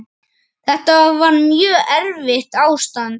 Þetta var mjög erfitt ástand.